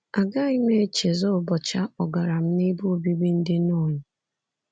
Agaghị m echezọ ụbọchị a kpọgara m n’ebe obibi ndị nọn.